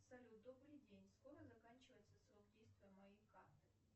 салют добрый день скоро заканчивается срок действия моей карты